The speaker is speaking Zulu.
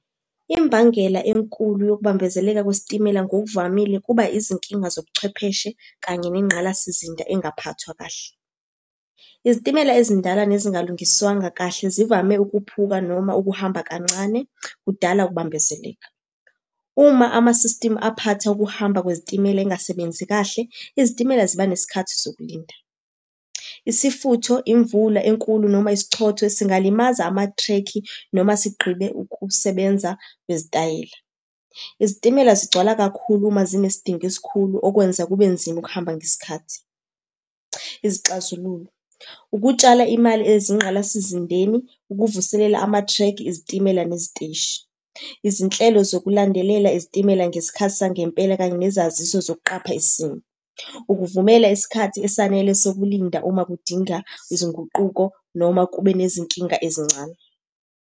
Imbangela enkulu yokubambezeleka kwesitimela ngokuvamile kuba izinkinga zobuchwepheshe kanye nengqalasizinda engaphathwa kahle. Izitimela ezindala nezingalungiswanga kahle zivame ukuphuka noma ukuhamba kancane, kudala ukubambezeleka. Uma ama-system aphatha ukuhamba kwezitimela engasebenzi kahle, izitimela ziba nesikhathi sokulinda. Isifutho, imvula enkulu, noma ischotho, singalimaza amathrekhi noma sigqibe ukusebenza kwezitayela. Izitimela zigcwala kakhulu uma zinesidingo esikhulu okwenza kube nzima ukuhamba ngesikhathi. Izixazululo, ukutshala imali ezingqalasizindeni, ukuvuselela amathrekhi ezitimela neziteshi. Izinhlelo zokulandelela izitimela ngesikhathi sangempela, kanye nezaziso zokuqapha isimo. Ukuvumela isikhathi esanele sokulinda uma kudinga izinguquko noma kube nezinkinga ezincane.